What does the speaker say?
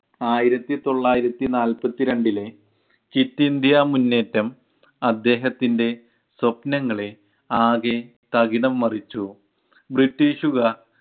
ആയിരത്തിതൊള്ളായിരത്തിനാല്പത്തിരണ്ടിലെ quit India മുന്നേറ്റം അദ്ദേഹത്തിൻ്റെ സ്വപ്നങ്ങളെ ആകെ തകിടം മറിച്ചു. ബ്രിട്ടീഷുകാർ